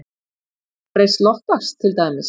Vegna breytts loftslags til dæmis?